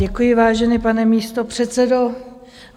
Děkuji, vážený pane místopředsedo.